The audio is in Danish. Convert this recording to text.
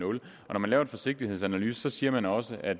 nul når man laver en forsigtighedsanalyse siger man også at